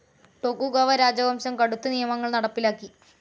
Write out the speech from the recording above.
Tokugawa രാജവംശം കടുത്ത് നിയമങ്ങൾ നടപ്പിലാക്കി.